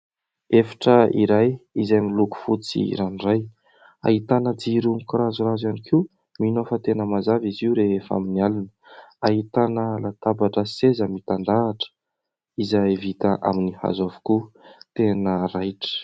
Efitra iray izay miloko fotsy ranoray, ahitana jiro mikorazorazo ihany koa, mino aho fa tena mazava izy io rehefa amin'ny alina, ahitana latabatra sy seza mitandrahatra izay vita amin'ny hazo avokoa. Tena raitra.